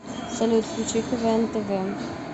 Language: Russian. салют включи квн тв